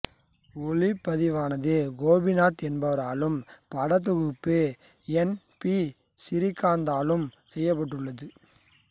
ஒளிப்பதிவானது கோபிநாத் என்பவராலும் படத்தொகுப்பு N P சிறீகாந்தாலும் செய்யப்பட்டுள்ளது